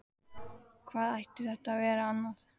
Hvað ætti þetta að vera annað?